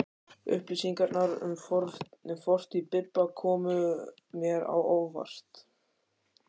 Upplýsingarnar um fortíð Bibba komu mér á óvart.